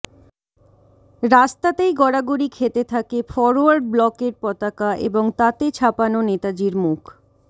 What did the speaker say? রাস্তাতেই গড়াগড়ি খেতে থাকে ফরওয়ার্ড ব্লকের পতাকা এবং তাতে ছাপানো নেতাজির মুখ